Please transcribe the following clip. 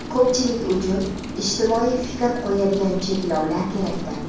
ko‘pchilik uchun ijtimoiy fikr qo‘yadigan cheklovlar kerakdir.